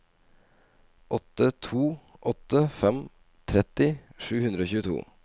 åtte to åtte fem tretti sju hundre og tjueto